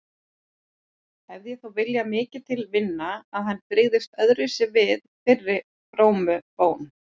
Hefði ég þó viljað mikið til vinna að hann brygðist öðruvísi við þeirri frómu bón.